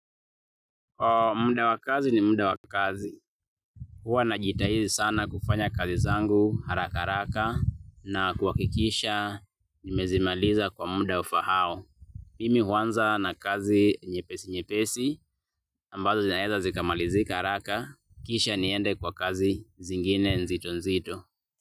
Muda wa kazi ni muda wa kazi. Huwa najitahidi sana kufanya kazi zangu haraka haraka na kuhakikisha nimezimaliza kwa muda unaofaa. Mimi huanza na kazi nyepesi nyepesi ambazo zinaeza zikamalizika haraka kisha niende kwa kazi zingine nzito nzito.